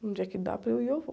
No dia que dá para eu ir, eu vou.